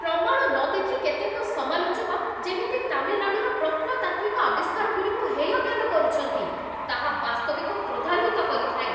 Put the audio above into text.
ପ୍ରମାଣ ନ ଦେଖି କେତେକ ସମାଲୋଚକ ଯେମିତି ତାମିଲନାଡ଼ୁର ପ୍ରତ୍ନତାତ୍ତ୍ୱିକ ଆବିଷ୍କାରଗୁଡ଼ିକୁ ହେୟଜ୍ଞାନ କରୁଛନ୍ତି, ତାହା ବାସ୍ତବିକ କ୍ରୋଧାନ୍ୱିତ କରିଥାଏ।